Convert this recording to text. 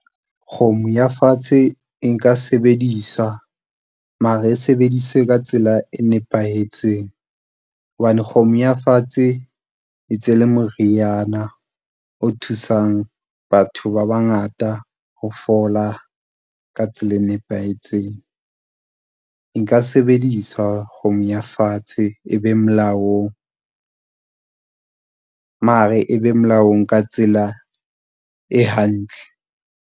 Kgomo ya fatshe e nka sebediswa, mara e sebedise ka tsela e nepahetseng. Hobane kgomo ya fatshe e ntse e le moriana o thusang batho ba bangata ho fola ka tsela e nepahetseng. Nka sebedisa kgomo ya fatshe e be molaong, mare e be molaong ka tsela e hantle.